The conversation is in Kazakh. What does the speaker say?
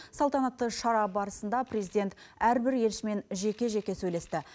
салтанатты шара барысында президент әрбір елшімен жеке жеке сөйлесті